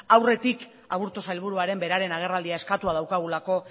aurretik aburto sailburuaren beraren agerraldia eskatuta daukagulako